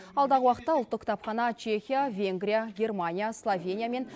алдағы уақытта ұлттық кітапхана чехия венгрия германия словения мен